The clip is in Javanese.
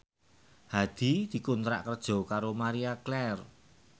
Hadi dikontrak kerja karo Marie Claire